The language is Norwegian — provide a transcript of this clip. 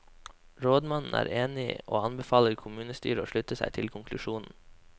Rådmannen er enig og anbefaler kommunestyret å slutte seg til konklusjonen.